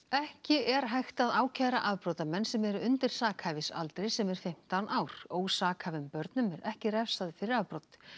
ekki er hægt að ákæra afbrotamenn sem eru undir sakhæfisaldri sem er fimmtán ár ósakhæfum börnum er ekki refsað fyrir afbrot